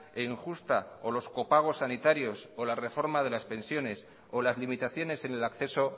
e injusta o los copagos sanitarios o la reforma de las pensiones o las limitaciones en el acceso